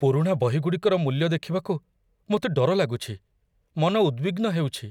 ପୁରୁଣା ବହିଗୁଡ଼ିକର ମୂଲ୍ୟ ଦେଖିବାକୁ ମୋତେ ଡର ଲାଗୁଛି, ମନ ଉଦବିଗ୍ନ ହେଉଛି।